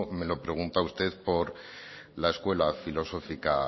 me lo pregunta usted por la escuela filosófica